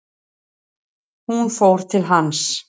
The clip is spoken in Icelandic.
Hún fór til hans.